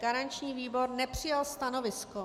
Garanční výbor nepřijal stanovisko.